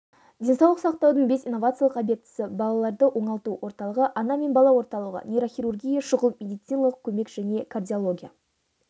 денсаулық сақтаудың бес инновациялық объектісі балаларды оңалту орталығы ана мен бала орталығы нейрохирургия шұғыл медициналық көмек және кардиология